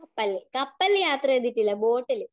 കപ്പൽ യാത്ര ചെയ്തിട്ടില്ല ബോട്ടിൽ.